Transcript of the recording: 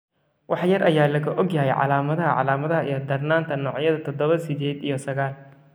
Wax yar ayaa laga ogyahay calaamadaha, calaamadaha, iyo darnaanta noocyada todobo sided iyo sagal.